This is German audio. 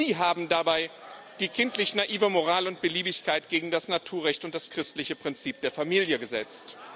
Sie haben dabei die kindlich naive Moral und Beliebigkeit gegen das Naturrecht und das christliche Prinzip der Familie gesetzt.